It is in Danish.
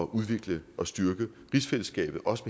udvikle og styrke rigsfællesskabet også